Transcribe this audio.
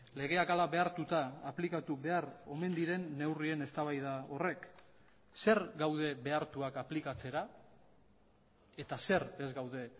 legeak hala behartuta aplikatu behar omen diren neurrien eztabaida horrek zer gaude behartuak aplikatzera eta zer ez gaude